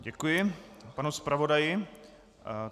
Děkuji panu zpravodaji.